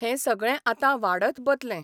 हें सगळें आतां वाढत बतलें.